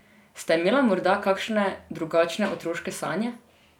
Sta imela morda kakšne drugačne otroške sanje?